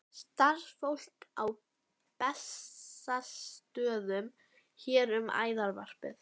Starfsfólk á Bessastöðum sér um æðarvarpið.